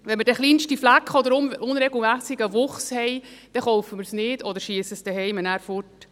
Wenn wir den kleinsten Fleck oder unregelmässigen Wuchs haben, kaufen wir es nicht oder werfen es zuhause nachher weg.